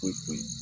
Foyi foyi